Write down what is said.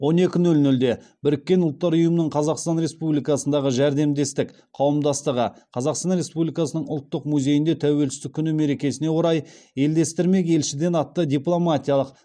он екі нөл нөлде біріккен ұлттар ұйымының қазақстан республикасындағы жәрдемдестік қауымдастығы қазақстан республикасының ұлттық музейінде тәуелсіздік күні мерекесіне орай елдестірмек елшіден атты дипломатиялық